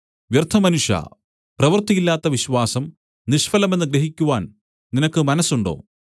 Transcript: വ്യർത്ഥമനുഷ്യാ പ്രവൃത്തിയില്ലാത്ത വിശ്വാസം നിഷ്ഫലമെന്ന് ഗ്രഹിക്കുവാൻ നിനക്ക് മനസ്സുണ്ടോ